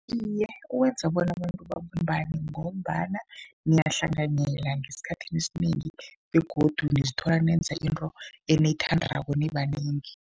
Iye, uwenza bona abantu babumbane ngombana niyahlanganyela ngesikhathini esinengi begodu nizithola nenza into eniyithandako nibanengi.